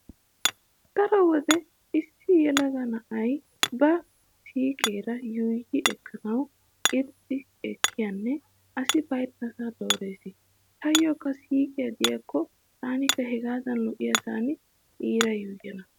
Daro wode issi yelaga na'ay ba siiqeera yuuyyi ekkanawu irxxi ekkiyanne asi baynnasaa doorees. Taayyokka siiqiya diyakko taanikka hegaadan lo'iyasan iira yuuyyana.